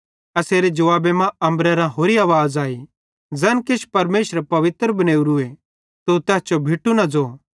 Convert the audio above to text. एसेरे जुवाबे मां अम्बरेरां होरि आवाज़ आई ज़ैन किछ परमेशरे पवित्र बनेवरीए तू तैस जो भिटू न ज़ो